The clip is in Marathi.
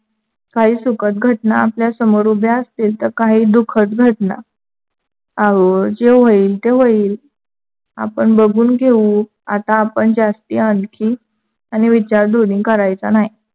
काही सुखद घटना आपल्या समोर उभ्या असतील तर काही दुखद घटना. आहो जे होईल ते होईल. आपण बघून घेऊ. आता आपण जास्ती आणखी आणि विचार दोन्ही करायच नाही.